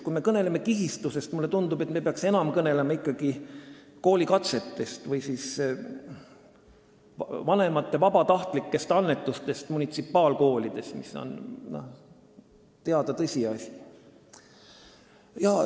Kui me kõneleme kihistumisest, siis mulle tundub, et me peaksime enam kõnelema ikkagi koolikatsetest või vanemate annetustest munitsipaalkoolides, mis on teada tõsiasi.